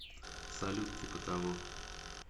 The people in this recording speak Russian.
салют типа того